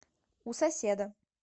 у соседа